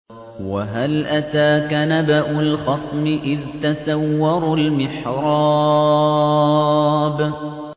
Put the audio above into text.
۞ وَهَلْ أَتَاكَ نَبَأُ الْخَصْمِ إِذْ تَسَوَّرُوا الْمِحْرَابَ